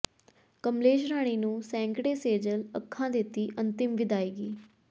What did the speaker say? ਕਮਲੇਸ਼ ਰਾਣੀ ਨੂੰ ਸੈਂਕੜੇ ਸੇਜਲ ਅੱਖਾਂ ਦਿੱਤੀ ਅੰਤਿਮ ਵਿਦਾਇਗੀ